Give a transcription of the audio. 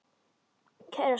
Kæra Sigrún.